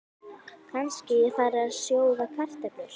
Kannski ég fari að sjóða kartöflur.